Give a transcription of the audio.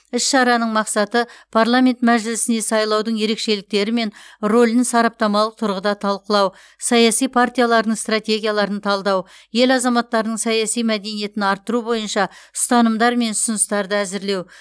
іс шараның мақсаты парламент мәжілісіне сайлаудың ерекшеліктері мен рөлін сараптамалық тұрғыда талқылау саяси партиялардың стратегияларын талдау ел азаматтарының саяси мәдениетін арттыру бойынша ұстанымдар мен ұсыныстарды әзірлеу